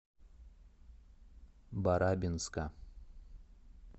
барабинска